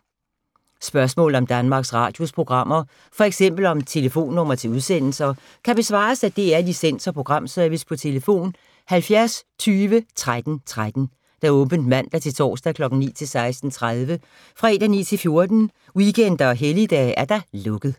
Spørgsmål om Danmarks Radios programmer, f.eks. om telefonnumre til udsendelser, kan besvares af DR Licens- og Programservice: tlf. 70 20 13 13, åbent mandag-torsdag 9.00-16.30, fredag 9.00-14.00, weekender og helligdage: lukket.